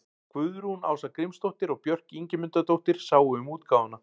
Guðrún Ása Grímsdóttir og Björk Ingimundardóttir sáu um útgáfuna.